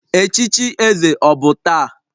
Echichi eze ọ bụ taa?